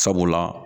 Sabula